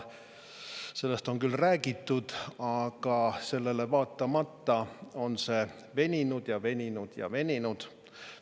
Sellest on küll räägitud, aga sellele vaatamata on see veninud ja veninud ja veninud.